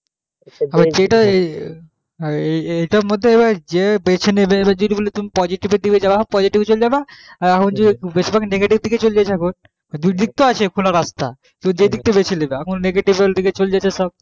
হ্যাঁ এইটার মধ্যে যে বেছে নেবে এবার যদি বোলো তুমি positive দিকে যাবা positive এ চলে যাবা বেশির ভাগ negative দিকে চলেযেছে দুইদিক তো আছে খোলা রাস্তা তুমি যেই দিকটা বেছে নেবা এখন negative এর দিকে চলে যাচ্ছে সব